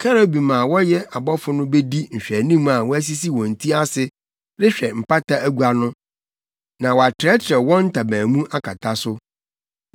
Kerubim a wɔyɛ abɔfo no bedi nhwɛanim a wɔasisi wɔn ti ase rehwɛ mpata agua no na wɔatrɛtrɛw wɔn ntaban mu akata so.